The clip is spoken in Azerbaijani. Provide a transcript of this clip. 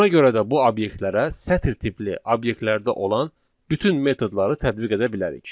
Buna görə də bu obyektlərə sətr tipli obyektlərdə olan bütün metodları tətbiq edə bilərik.